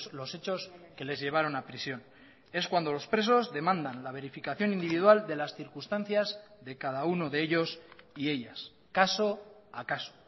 los hechos que les llevaron a prisión es cuando los presos demandan la verificación individual de las circunstancias de cada uno de ellos y ellas caso a caso